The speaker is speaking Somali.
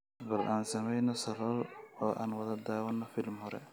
bal aan sameeyno salool oo aan wada daawano filim hore